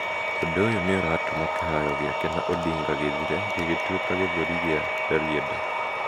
Ũndũ ũyũ nĩ ũratũma kĩharo gĩake na Odinga gĩthire gĩgĩtuĩka gĩthũri kĩa Rarieda.